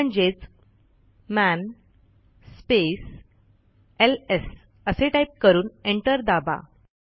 म्हणजेच man space LS असे type करून एंटर दाबा